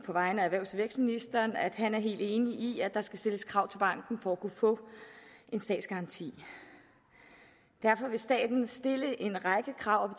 vegne af erhvervs og vækstministeren sige at han er helt enig i at der skal stilles krav til banken for at kunne få en statsgaranti derfor vil staten stille en række krav